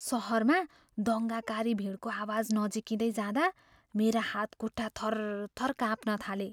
सहरमा दङ्गाकारी भिडको आवाज नजिकिँदै जाँदा मेरा हातखुट्टा थरथर काँप्न थाले।